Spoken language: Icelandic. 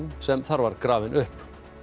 sem þar var grafinn upp